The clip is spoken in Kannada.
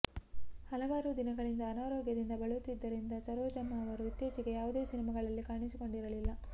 ಹಲವಾರು ದಿನಗಳಿಂದ ಅನಾರೋಗ್ಯದಿಂದ ಬಳಲುತ್ತಿದ್ದರಿಂದ ಸರೋಜಮ್ಮ ಅವರು ಇತ್ತೀಚೆಗೆ ಯಾವುದೇ ಸಿನಿಮಾಗಳಲ್ಲಿ ಕಾಣಿಸಿಕೊಂಡಿರಲಿಲ್ಲ